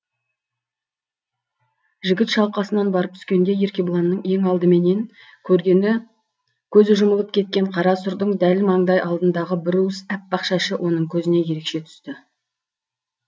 жігіт шалқасынан барып түскенде еркебұланның ең алдыменен көргені көзі жұмылып кеткен қара сұрдың дәл маңдай алдындағы бір уыс аппақ шашы оның көзіне ерекше түсті